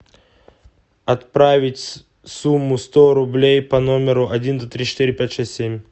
отправить сумму сто рублей по номеру один два три четыре пять шесть семь